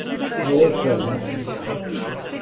Og komin með nýja hárgreiðslu.